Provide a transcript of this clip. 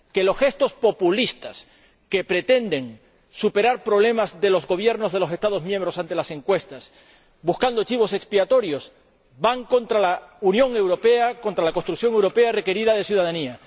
en segundo lugar, que los gestos populistas que pretenden superar problemas de los Gobiernos de los Estados miembros ante las encuestas buscando chivos expiatorios van contra la Unión Europea, contra la construcción europea requerida de ciudadanía